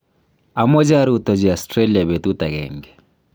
amoche arutochi Australia betut akenge.